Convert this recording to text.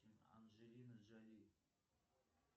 анджелина джоли